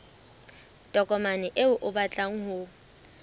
tokomane eo o batlang ho